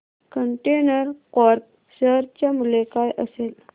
container corp share चे मूल्य काय असेल